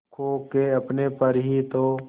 खो के अपने पर ही तो